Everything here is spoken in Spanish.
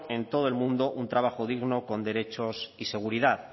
en todo el mundo un trabajo digno con derechos y seguridad